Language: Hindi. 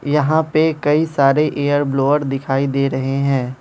यहां पे कई सारे एयर ब्लोअर दिखाई दे रहे हैं।